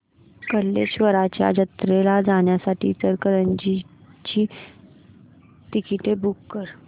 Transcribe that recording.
कल्लेश्वराच्या जत्रेला जाण्यासाठी इचलकरंजी ची तिकिटे बुक कर